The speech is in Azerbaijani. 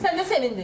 Sən də sevindin?